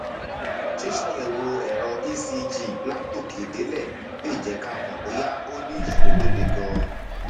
ṣíṣàyẹwò ẹrọ ecg látòkèdélẹ lè jẹ ká mọ bóyá o ní ìṣòro tó le ganan